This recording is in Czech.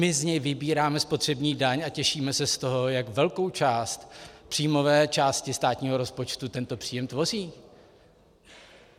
My z něj vybíráme spotřební daň a těšíme se z toho, jak velkou část příjmové části státního rozpočtu tento příjem tvoří.